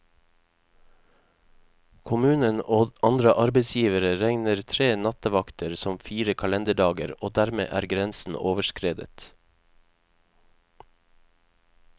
Kommunen og andre arbeidsgivere regner tre nattevakter som fire kalenderdager, og dermed er grensen overskredet.